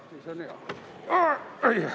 Oi-oi, ikkagi jõudis!